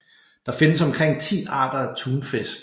Der findes omkring 10 arter af tunfisk